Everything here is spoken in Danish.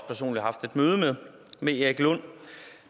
personligt haft et møde med erik lund